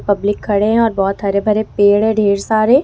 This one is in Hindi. पब्लिक खड़े हैं और बहोत हरे भरे पेड़ है ढेर सारे।